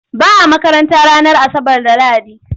Ba a makaranta ranar Asabar da Lahadi.